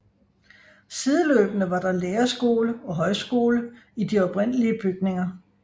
Sideløbende var der lærerskole og højskole i de oprindelige bygninger